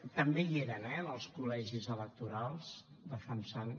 també hi eren eh en els col·legis electorals defensant